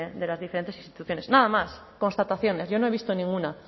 de las diferentes instituciones nada más constataciones yo no he visto ninguna